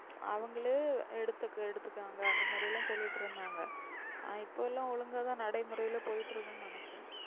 அவங்களே எடுத்துக்காங்கனு அந்த மாதிரிலாம் சொல்லிட்டு இருந்தாங்க. ஆனா இப்போ எல்லாம் ஒழுங்காதான் நடைமுறையில போய்கிட்டிருக்குனு நினக்கிறேன்.